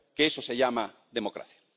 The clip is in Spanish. Que eso se llama democracia.